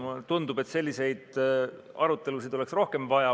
Mulle tundub, et selliseid arutelusid oleks rohkem vaja.